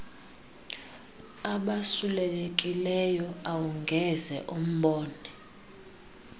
abasulelekileyo awungeze umbone